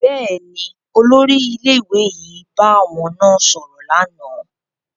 Bẹẹni, olórí ilé-ìwé yìí bá àwọn náà sọrọ lànà